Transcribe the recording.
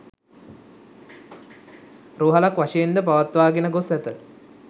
රෝහලක් වශයෙන් ද පවත්වාගෙන ගොස් ඇත.